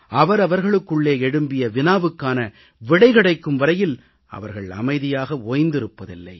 அவர்களுக்குள்ளே எழும்பிய வினாவுக்கான விடை கிடைக்கும் வரையில் அவர்கள் அமைதியாக ஓய்ந்திருப்பதில்லை